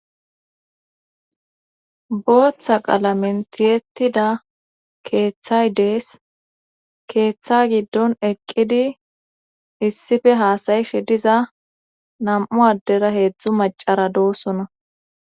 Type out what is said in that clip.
booththa qalamen tiyetida keeththay dees keeththa giddon eqqidi issife haasayishe diza nam7u addera heedzdzu macara doosona